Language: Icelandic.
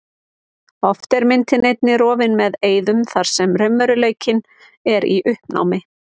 Oft er myndin einnig rofin með eyðum þar sem raunveruleikinn er í uppnámi.